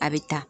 A bɛ ta